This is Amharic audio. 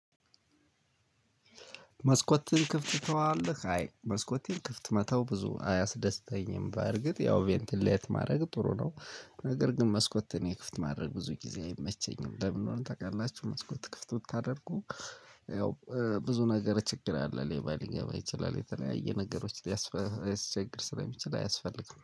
መስኮትን ክፍት ተዋለህ አይ መስኮትን ክፍት መተው ብዙ አያስደስተኝም በእርግጥ ያው ቬንትሌት ማድረግ ጥሩ ነው። ነገር ግን መስኮትን የክፍት ማድረግ ብዙ ጊዜ አይመቸኝም። ለምን ነው ታውቃላችሁ? መስኮት ክፍት ስታደርጉ። ያው ብዙ ነገር ችግር አለ ሌባ ሊገባ ይችላል የተለያየ ነገሮች ሊያስቸግር ስለሚችል አያስፈልግም